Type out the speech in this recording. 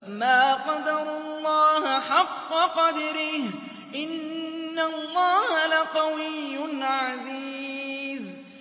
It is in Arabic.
مَا قَدَرُوا اللَّهَ حَقَّ قَدْرِهِ ۗ إِنَّ اللَّهَ لَقَوِيٌّ عَزِيزٌ